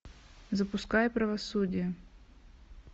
запускай правосудие